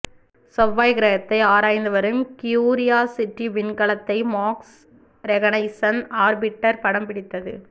செவ்வாய் கிரத்தை ஆராய்ந்து வரும் கியூரியாசிட்டி விண்கலத்தை மார்ஸ் ரெகனைசன்ஸ் ஆர்பிட்டர் படம் பிடித்தது